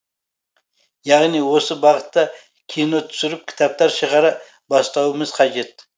яғни осы бағытта кино түсіріп кітаптар шығара бастауымыз қажет